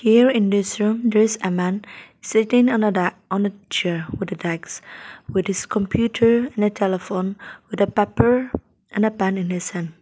here in this room there is a man sitting on the da on a chair with the deks with his computer and a telephone with a paper and a pen in his hand.